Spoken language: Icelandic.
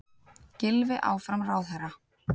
Gylfi áfram ráðherra